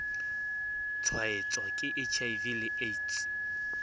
tshwaetswa ke hiv le aids